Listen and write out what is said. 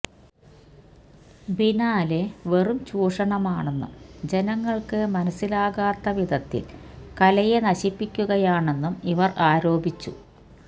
biennale വെറും ചൂഷണമാണെന്നും ജനങ്ങള്ക്ക് മനസ്സിലാകാത്ത വിധത്തില് കലയെ നശിപ്പിക്കുകയാണെന്നും ഇവര് ആരോപിച്ചു